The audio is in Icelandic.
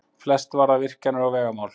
Flest varða virkjanir og vegamál